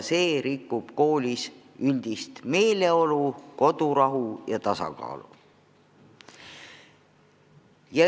See rikub koolis üldist meeleolu, kodurahu ja tasakaalu.